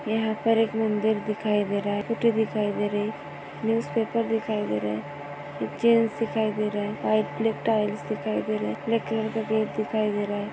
यहाँ पर एक मंदिर दिखाई दे रहा है फोटो दिखाई दे रही न्यूज़ पेपर दिखाई दे रहा चेय्र्स दिखाई दे रहा है और रेड कलर का गेट दिखाई दे रहा है।